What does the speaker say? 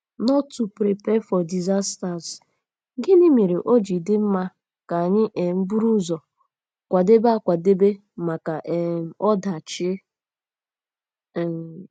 nt to prepare for disasters? Gịnị mere o ji dị mma ka anyị um buru ụzọ kwadebe akwadebe maka um ọdachi? um